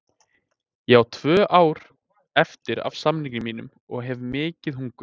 Ég á tvö ár eftir af samningi mínum og hef mikið hungur.